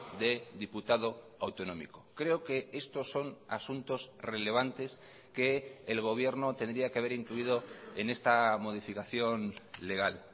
de diputado autonómico creo que estos son asuntos relevantes que el gobierno tendría que haber incluido en esta modificación legal